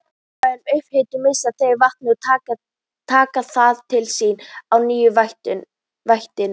Við væga upphitun missa þeir vatn en taka það til sín á ný í vætu.